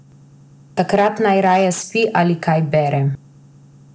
Takrat najraje spi ali kaj bere.